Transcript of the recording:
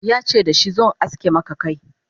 yace dashi "zo in aske Maka Kai!